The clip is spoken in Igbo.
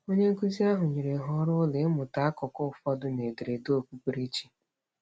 Onyenkụzi ahụ nyere ha ọrụụlọ ịmụta akụkụ ụfọdụ n'ederede okpukperechi.